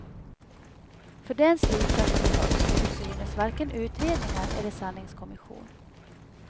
För den slutsatsen behövs som synes varken utredningar eller sanningskommission.